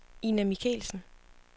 Ina Michelsen